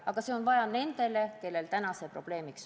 Aga seda on vaja nendel, kelle puhul see täna on probleemiks.